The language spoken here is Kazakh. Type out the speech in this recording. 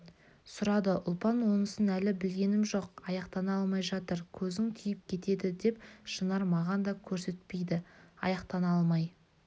сұрады ұлпан онысын әлі білгенім жоқ аяқтана алмай жатыр көзің тиіп кетеді деп шынар маған да көрсетпейді аяқтана алмай